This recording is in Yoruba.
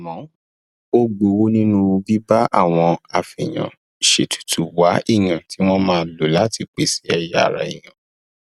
àmọ ó gbowó nínú bíbá àwọn afèèyànṣètùtù wá èèyàn tí wọn máa lò láti pèsè ẹyà ara èèyàn